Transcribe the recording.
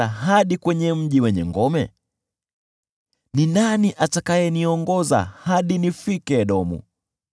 Ni nani atakayenipeleka hadi mji wenye ngome? Ni nani atakayeniongoza hadi nifike Edomu?